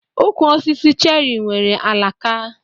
Ukwu osisi cheri nwere alaka.